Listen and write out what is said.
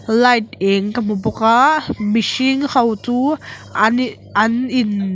light eng ka hmu bawk a mihring ho chu an ih an in--